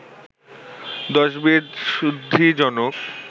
দশবিধ শুদ্ধিজনক